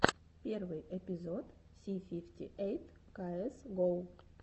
первый эпизод си фифти эйт каэс гоу